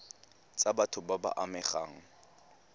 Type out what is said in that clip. tsa batho ba ba amegang